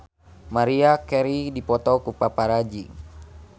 Maria Carey dipoto ku paparazi